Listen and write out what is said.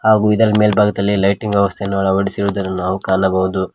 ಹಾಗು ಇದರ ಮೇಲ್ಭಾಗದಲ್ಲಿ ಲೈಟಿಂಗ್ ವ್ಯವಸ್ಥೆ ಅನ್ನು ಅಳವಡಿಸಿರುವುದನ್ನು ನಾವು ಕಾಣಬಹುದು.